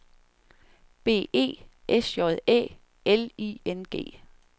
B E S J Æ L I N G